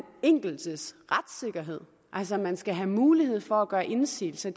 enkeltes retssikkerhed altså at man skal have mulighed for at gøre indsigelse